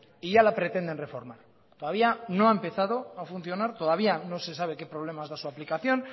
y ya la pretenden reformar todavía no ha empezado a funcionar todavía no se sabe qué problemas da su aplicación